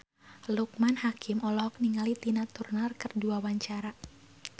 Loekman Hakim olohok ningali Tina Turner keur diwawancara